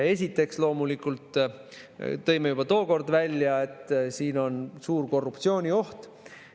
Esiteks loomulikult tõime juba tookord välja, et siin on suur korruptsioonioht.